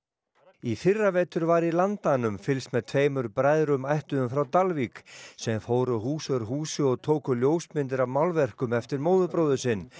í fyrravetur var í Landanum fylgst með tveimur bræðrum ættuðum frá Dalvík sem fóru hús úr húsi og tóku ljósmyndir af málverkum eftir móðurbróður sinn